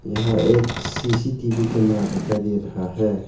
यहाँ एक CCTV camera दिखाई दे रहा है।